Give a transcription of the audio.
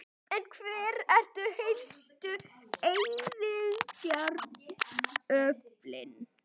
Í þróuninni töpuðu slöngur útlimum og öðru lunganu og augnalok hafa þær einnig misst.